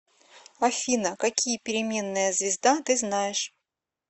афина какие переменная звезда ты знаешь